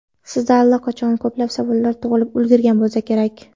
Sizda allaqachon ko‘plab savollar tug‘ilib ulgurgan bo‘lsa kerak.